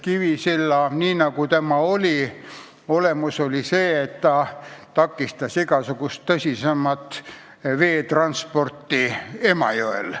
Kivisilla probleemi olemus on olnud see, et ta takistas igasugust tõsisemat veetransporti Emajõel.